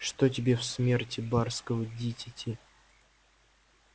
что тебе в смерти барского дитяти